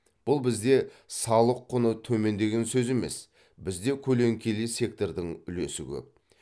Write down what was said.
бұл бізде салық құны төмен деген сөз емес бізде көлеңкелі сектордың үлесі көп